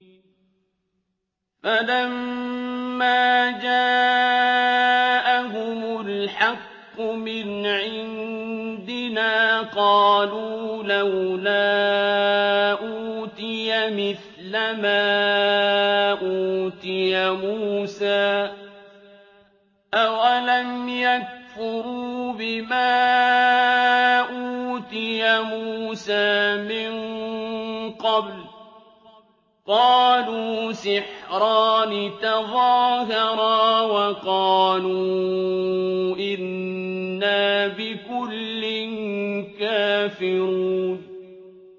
فَلَمَّا جَاءَهُمُ الْحَقُّ مِنْ عِندِنَا قَالُوا لَوْلَا أُوتِيَ مِثْلَ مَا أُوتِيَ مُوسَىٰ ۚ أَوَلَمْ يَكْفُرُوا بِمَا أُوتِيَ مُوسَىٰ مِن قَبْلُ ۖ قَالُوا سِحْرَانِ تَظَاهَرَا وَقَالُوا إِنَّا بِكُلٍّ كَافِرُونَ